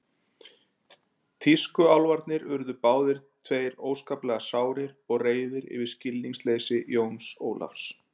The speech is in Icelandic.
Tískuálfarnir urðu báðir tveir óskaplega sárir og reiðir yfir skilningsleysi Jóns Ólafs.